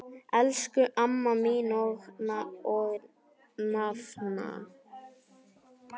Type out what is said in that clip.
Elsku amma mín og nafna.